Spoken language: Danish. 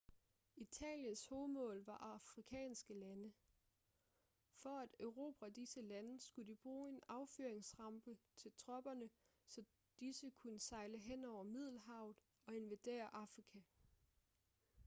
italiens hovedmål var afrikanske lande for at erobre disse lande skulle de bruge en affyringsrampe til tropperne så disse kunne sejle henover middelhavet og invadere afrika